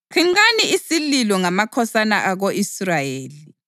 “Qhinqani isililo ngamakhosana ako-Israyeli